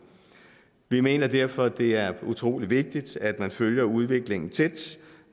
vi mener derfor at det er utrolig vigtigt at følge udviklingen tæt